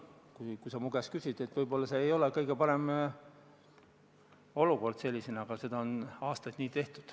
Kui sa mu käest küsid, siis vastan, et võib-olla see ei ole kõige parem olukord, aga seda on aastaid nii tehtud.